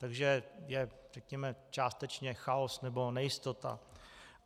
Takže je řekněme částečně chaos nebo nejistota.